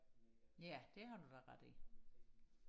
ja det har du da ret i